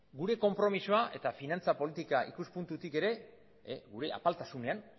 gure konpromisoa eta finantza politika ikuspuntutik ere gure apaltasunean